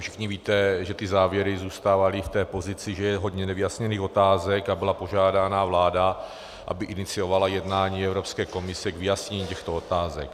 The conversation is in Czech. Všichni víte, že ty závěry zůstávaly v té pozici, že je hodně nevyjasněných otázek, a byla požádána vláda, aby iniciovala jednání Evropské komise k vyjasnění těchto otázek.